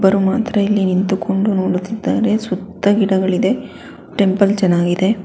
ಒಬ್ಬರು ಮಾತ್ರ ಇಲ್ಲಿ ನಿಂತುಕೊಂಡು ನೋಡುತ್ತಿದ್ದಾರೆ ಸುತ್ತ ಗಿಡಗಳಿದೆ ಟೆಂಪಲ್ ಚೆನ್ನಾಗಿದೆ.